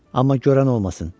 Amma görən olmasın.